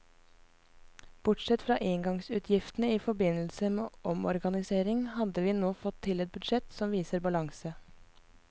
Bortsett fra engangsutgiftene i forbindelse med omorganisering hadde vi nå fått til et budsjett som viser balanse.